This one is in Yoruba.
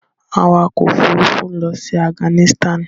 Awakọ̀ òfurufú ń lọ sí Afghanistan.